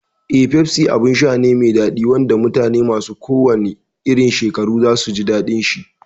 Eh, Pepsi abin sha ne mai daɗi wanda mutane masu kowanne irin shekaru za su iya jin daɗinsa.